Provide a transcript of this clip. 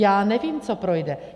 Já nevím, co projde.